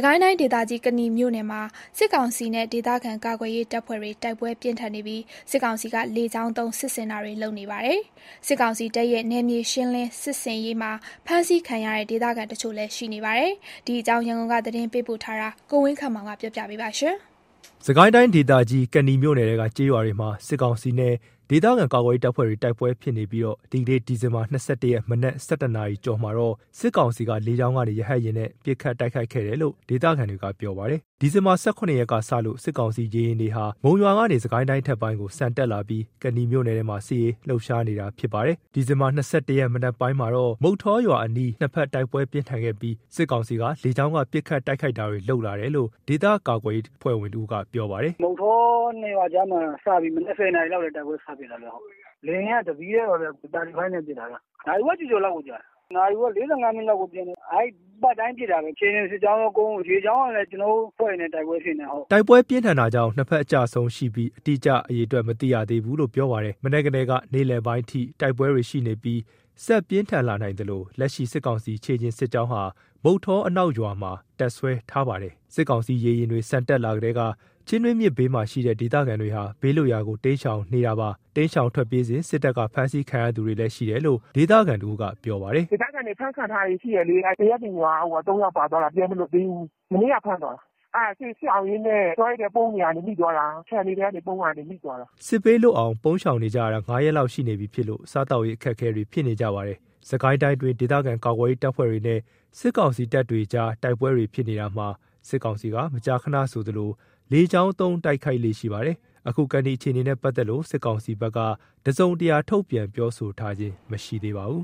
ကိုင်းတိုင်းဒေသကြီး ကနီမြို့နယ်မှာ စစ်ကောင်စီနဲ့ ဒေသခံကာကွယ်ရေးတပ်ဖွဲ့တွေ တိုက်ပွဲပြင်းထန်နေတာမှာ စစ်တပ်ဘက်က လေကြောင်းကနေပါ တိုက်ခိုက်နေပါတယ်။ စစ်တပ်ရဲ့ နယ်မြေရှင်းလင်းမှုတွေအတွင်း ဖမ်းခံရသူ ဒေသခံတချို့လည်းရှိနေပါတယ်။ ဒီအကြောင်း ရန်ကုန်က ပေးပို့တဲ့သတင်းကို ကိုဝင်းခန့် တင်ပြပေးထားပါတယ်။ စစ်ကိုင်းတိုင်းဒေသကြီး ကနီမြို့နယ်ထဲက ကျေးရွာတွေမှာ စစ်ကောင်စီနဲ့ ဒေသခံကာကွယ်ရေးတပ်ဖွဲ့တွေ တိုက်ပွဲတွေဖြစ်နေတာမှာ ဒီနေ့ ဒီဇင်ဘာ ၂၁ ရက် မနက်ပိုင်း ၁၁ နာရီကျော်မှာတော့ စစ်ကောင်စီက လေကြောင်းကနေ ရဟတ်ယာဉ်နဲ့ ပစ်ခတ်တိုက်ခိုက်ခဲ့တယ်လို့ ဒေသခံတွေကပြောပါတယ်။ ဒီဇင်ဘာ ၁၇ ရက်ကစလို့ စစ်ကောင်စီရေယာဉ်တွေဟာ မုံရွာကနေ စစ်ကိုင်းတိုင်း အထက်ပိုင်းကို ဆန်တက်လာပြီး ကနီမြို့နယ်ထဲမှာ စစ်ရေးလှုပ်ရှားနေတာဖြစ်ပါတယ်။ ဒီဇင်ဘာ ၂၁ ရက် မနက်ပိုင်းမှာတော့ မုဌောရွာအနီးမှာ ၂ ဘက် တိုက်ပွဲပြင်းထန်ခဲ့ပြီး စစ်ကောင်စီက လေကြောင်းကနေ ပစ်ခတ်တိုက်ခိုက်လာတာလို့ ဒေသကာကွယ်ရေးအဖွဲ့ဝင်တဦးက ပြောပါတယ်။ “မုဌော ၂ (အရှေ့အနောက်) ရွာကြားမှာ မနက် ၁၀ နာရီလောက်ကတည်းက တိုက်ပွဲစဖြစ်နေတာ။ လေယာဉ်က ၁ စီးတည်းပါခင်ဗျ။ Mig 35 နဲ့ ပစ်တာ။ နာရီဝက်ကျော်ကျော်လောက်ကိုကြာတာ။ နာရီဝက် ၄၅ မိနစ်လောက်ကိုပျံတယ်။ အဲ့လို ပတ်တိုင်းလည်း ပစ်တာပဲ။ ခြေကျင်စစ်ကြောင်းကော ရေကြောင်းကော ကျနော်တို့ အဖွဲ့တွေနဲ့ တိုက်ပွဲတွေ ဖြစ်နေတယ်။” တိုက်ပွဲပြင်းထန်တာကြောင့် ၂ ဘက်အကျအဆုံးရှိပြီး အတိအကျ မသိရှိရသေးဘူးလို့ ပြောပါတယ်။ မနက်ကတည်းကနေ နေ့လယ်ပိုင်းအထိ တိုက်ပွဲတွေရှိနေပြီး တိုက်ပွဲတွေ ဆက်ပြင်းထန်လာနိုင်သလို လက်ရှိ စစ်ကောင်စီ ခြေကျင်စစ်ကြောင်းဟာ မုဌောအနောက်ရွာမှာ တပ်စွဲထားပါတယ်။ စစ်ကောင်စီရေယာဉ်တွေ ဆန်တက်လာကတည်းက ချင်းတွင်းမြစ်ဘေးမှာရှိတဲ့ ဒေသခံတွေဟာ ဘေးလွတ်ရာကို တိမ်းရှောင်နေပါတယ်။ တိမ်းရှောင်ထွက်ပြေးစဉ် စစ်တပ်က ဖမ်းဆီးခံရသူတွေလည်းရှိတယ်လို့ ဒေသခံတဦးက ပြောပါတယ်။ “ဒေသခံတွေ ဖမ်းခံထားရတာရှိတယ်လေ။ သရက်ပင်ရွာက ၃ ယောက် ပါသွားတာ ပြန်မလွတ်သေးဘူး။ မနေ့က ဖမ်းသွားတာ။ အဲ့ဒါစစ်ရှောင်ရင်းနဲ့တောတွေထဲ ပုန်းနေရာကနေ မိသွားတာ။ ခြံတွေထဲ ပုန်းနေရင်းနဲ့မိသွားတာ။” စစ်ဘေးလွတ်အောင် ပုန်းရှောင်နေကြရတာ ၅ ရက်လောက်ရှိနေပြီဖြစ်လို့ စားသောက်ရေးအခက်အခဲတွေဖြစ်နေကြပါတယ်။ စစ်ကိုင်းတိုင်းအတွင်း ဒေသခံကာကွယ်ရေးတပ်ဖွဲ့တွေနဲ့ စစ်ကောင်စီတပ်တွေကြား တိုက်ပွဲတွေဖြစ်နေရာမှာ စစ်ကောင်စီက မကြာခဏဆိုသလို လေကြောင်းသုံး တိုက်ခိုက်လေ့ရှိပါတယ်။ အခု ကနီအခြေအနေနဲ့ပတ်သက်လို့ စစ်ကောင်စီဘက်က တစုံတရာထုတ်ပြန်ပြောဆိုတာမရှိသေးပါဘူး